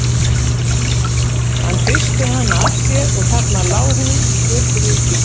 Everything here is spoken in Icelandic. Hann hristi hana af sér og þarna lá hún í göturykinu.